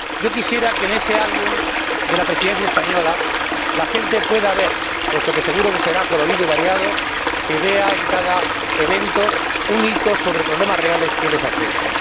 Quisiera que en ese álbum de la Presidencia española la gente pueda ver puesto que seguro que será colorido y variado en cada evento un hito sobre problemas reales que les afecten.